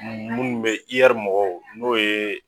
Munnu be mɔgɔw n'o ye